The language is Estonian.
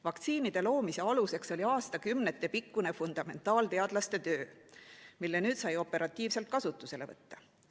Vaktsiinide loomise aluseks oli aastakümnetepikkune fundamentaalteadlaste töö, mille nüüd sai operatiivselt kasutusele võtta.